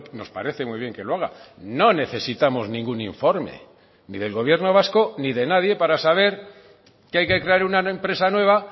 nos parece muy bien que lo haga no necesitamos ningún informe ni del gobierno vasco ni de nadie para saber que hay que crear una empresa nueva